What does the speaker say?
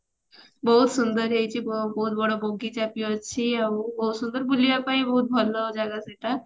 ବହୁତ ସୁନ୍ଦର ହେଇଛି ବହୁତ ବ ବଡ ବଗିଚା ବି ଅଛି ଆଉ ବୁଲିବା ପାଇଁ ଭଲ ଜାଗା ସେଇଟା